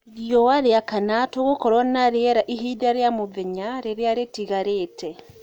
rĩũa riakana tugukorwo na rĩeraĩhĩnda rĩa mũthenya rĩrĩa ritagarite